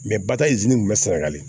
batayi kun bɛ sɛnɛgali